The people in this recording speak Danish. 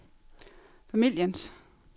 familiens